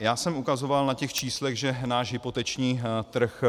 Já jsem ukazoval na těch číslech, že náš hypoteční trh